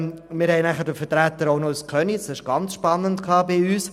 Wir hatten auch einen Vertreter aus Köniz bei uns, was sehr spannend war.